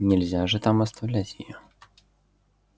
нельзя же там оставлять её